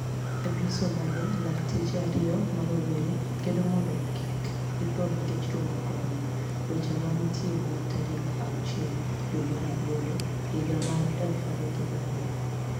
E piniy Somalia, lakteche ariyo ma rowere kedo monido kik githo niikech tuo mar coronia. Weche maniie ite mar tari 6dwe mar aboro higa 2020